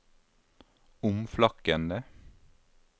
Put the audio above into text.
omflakkende